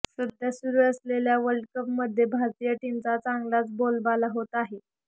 सध्या सुरू असलेल्या वर्ल्डकप मध्ये भारतीय टीमचा चांगलाच बोलबाला होत आहे